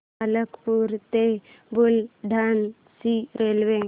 मलकापूर ते बुलढाणा ची रेल्वे